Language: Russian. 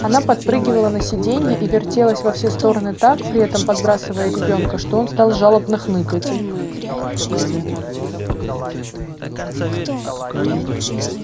она подпрыгивала на сиденье и вертелась во все стороны так при этом подбрасывая ребёнка что он стал жалобно хныкать